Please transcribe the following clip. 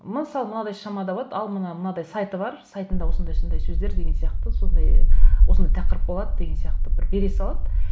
мысалы мынадай шамада болады ал мына мынадай сайты бар сайтында осындай осындай сөздер деген сияқты сондай осындай тақырып болады деген сияқты бір бере салады